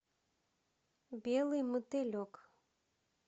белый мотылек